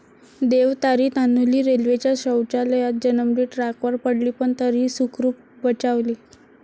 देव तारी...', तान्हुली रेल्वेच्या शौचालयात जन्मली, ट्रॅकवर पडली पण तरीही सुखरूप बचावली